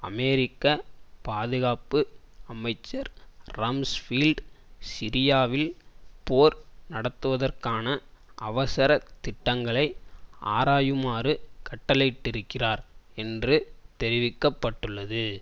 அமெரிக்க பாதுகாப்பு அமைச்சர் ரம்ஸ்பீல்ட் சிரியாவில் போர் நடத்துவதற்கான அவசரத் திட்டங்களை ஆராயுமாறு கட்டளையிட்டிருக்கிறார் என்று தெரிவிக்க பட்டுள்ளது